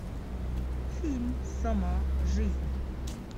фильм сама жизнь